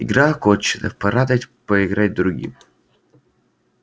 игра окончена пора дать поиграть другим